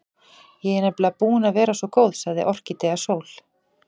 Ég er nefnilega búin að vera svo góð, sagði Orkídea Sól.